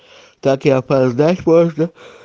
так и опоздать можно